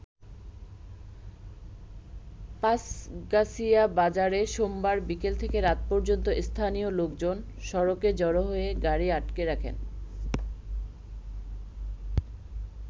পাঁছগাছিয়া বাজারে সোমবার বিকেল থেকে রাত পর্যন্ত স্থানীয় লোকজন সড়কে জড়ো হয়ে গাড়ি আটকে রাখেন।